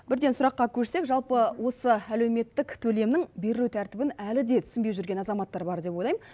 бірден сұраққа көшсек жалпы осы әлеуметтік төлемнің берілу тәртібін әлі де түсінбей жүрген азаматтар бар деп ойлаймын